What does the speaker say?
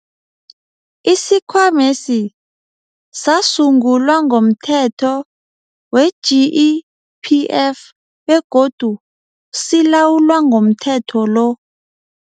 Isikhwamesi sasungulwa ngomThetho we-GEPF begodu silawulwa ngomthetho lo.